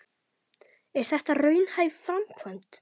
En er þetta raunhæf framkvæmd?